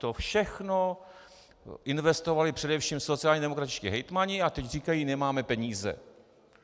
To všechno investovali především sociálně demokratičtí hejtmani a teď říkají: nemáme peníze.